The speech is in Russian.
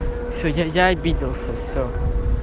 всё я обиделся всё